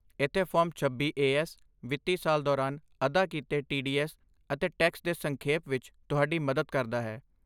ਇੱਥੇ ਫਾਰਮ ਛੱਬੀ A S ਵਿੱਤੀ ਸਾਲ ਦੌਰਾਨ ਅਦਾ ਕੀਤੇ ਟੀਡੀਐੱਸ ਅਤੇ ਟੈਕਸ ਦੇ ਸੰਖੇਪ ਵਿੱਚ ਤੁਹਾਡੀ ਮਦਦ ਕਰਦਾ ਹੈ